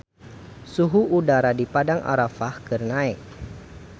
Suhu udara di Padang Arafah keur naek